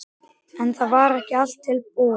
En það var ekki allt búið.